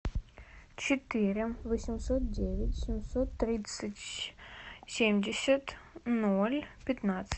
четыре восемьсот девять семьсот тридцать семьдесят ноль пятнадцать